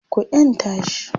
ku yanta shi!